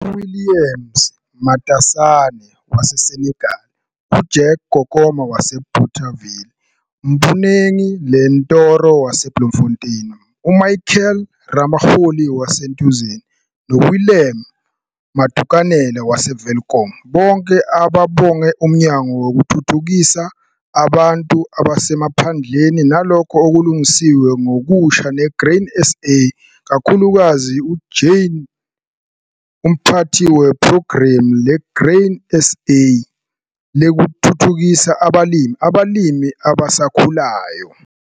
UWilliam Matasane, waseSenekal, uJack Kokoma, waseBothaville, uMponeng Lentoro, waseBloemfontein, uMichael Ramoholi, waseTheunissen, noWillem Modukanele, waseWelkom, bonke babonge Umnyango Wokuthuthukisa abantu Abasemaphandleni naLokho Okulungisiwe Ngokusha neGrain SA - kakhulukazi uNkz Jane McPherson, Umphathi Wephrogramu leGrain SA Lokuthuthukisa Abalimi Abalimi Abasakhulayo.